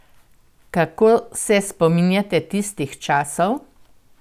Kako se spominjate tistih časov?